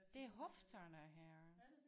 Det er hofterne her